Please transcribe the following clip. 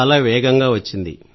ఇది వేగంగా వచ్చింది